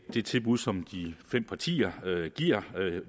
det tilbud som de fem partier giver